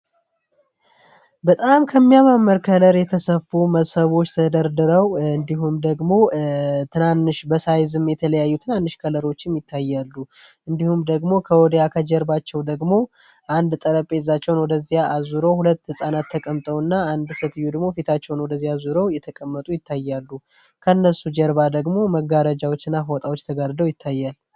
በጣም ከሚያማምር ከነር የተሰፉ መሰቦች ተደርድረው እንዲም ደግሞ፤ ትናንሽ በሳይዝም የተለያዩ ትናንሽ ከለሮችም ይታያሉ። እንዲሁም ደግሞ ከወዴያ ከጀርባቸው ደግሞ አንድ ጠረጴዛቸውን ወደዚያ አዙረው ሁለት ሕፃናት ተቀምጠው እና አንድ ሰትዩድሞ ፊታቸውን ወደዚያ ዙረው የተቀመጡ ይታያሉ። ከእነሱ ጀርባ ደግሞ መጋረጃዎች እና ፎጣዎች ተጋርደው ይታያል።